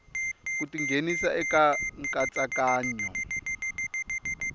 ku ti nghenisa eka nkatsakanyo